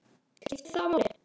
skiptir það máli?